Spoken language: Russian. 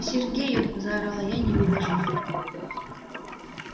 сергею заорала я не выдержав